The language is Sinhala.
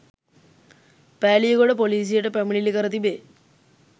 පෑලියගොඩ ‍පොලීසියට පැමිණිලි කර තිබේ.